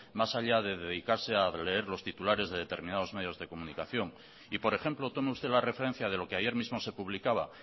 más allá de dedicarse a leer los titulares de determinados medios de comunicación y por ejemplo tome usted la referencia de lo que ayer mismo se publicaba